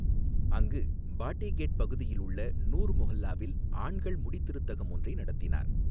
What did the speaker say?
அங்கு பாட்டி கேட் பகுதியில் உள்ள நூர் மொஹல்லாவில் ஆண்கள் முடிதிருத்தகம் ஒன்றை நடத்தினார்.